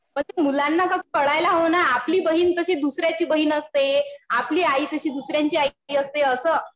मग ते मुलांना कळायला हवं ना. आपली बहीण तशी दुसऱ्याची बहीण असते. आपली आई तशी दुसऱ्यांची आई असते असं.